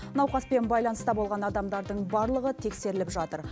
науқаспен байланыста болған адамдардың барлығы тексеріліп жатыр